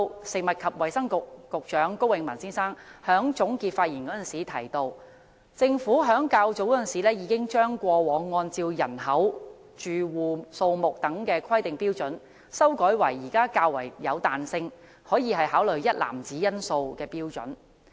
食物及衞生局局長高永文先生在總結發言時提到，政府在較早時候已經將過往按照人口、住戶數目等規劃標準，修改為現時較有彈性，可以考慮一籃子因素的規劃標準。